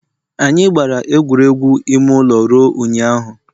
Anyị gbara egwuregwu ime ụlọ ruo ụnyaahụ